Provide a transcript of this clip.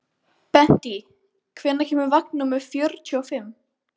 Bentey, hvenær kemur vagn númer fjörutíu og fimm?